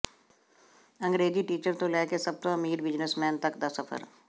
ਅੰਗਰੇਜ਼ੀ teacher ਤੋਂ ਲੈ ਕੇ ਸਭ ਤੋਂ ਅਮੀਰ ਬਿਜ਼ਨੈੱਸਮੈਨ ਤੱਕ ਦਾ ਸਫਰ